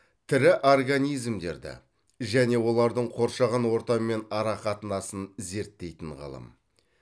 тірі организмдерді және олардың қоршаған ортамен арақатынасын зерттейтін ғылым